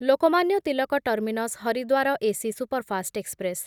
Lokmanya Tilak terminus Haridwar AC superfast express